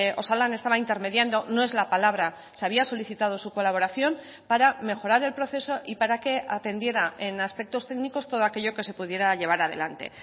osalan estaba intermediando no es la palabra se había solicitado su colaboración para mejorar el proceso y para que atendiera en aspectos técnicos todo aquello que se pudiera llevar adelante